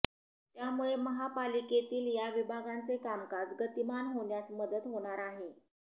त्यामुळे महापालिकेतील या विभागांचे कामकाज गतीमान होण्यास मदत होणार आहे